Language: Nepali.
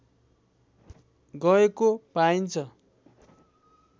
गएको पाइन्छ